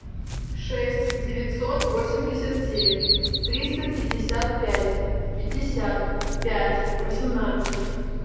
шесть девятьсот восемьдесят семь триста пятьдесят пять пятьдесят пять восемнадцать